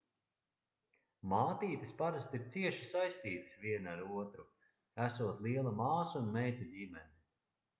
mātītes parasti ir cieši saistītas viena ar otru esot liela māsu un meitu ģimene